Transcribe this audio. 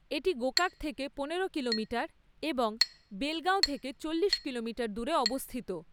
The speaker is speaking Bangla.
এটি গোকাক থেকে পনেরো কিলোমিটার এবং বেলগাঁও থেকে চল্লিশ কিলোমিটার দূরে অবস্থিত।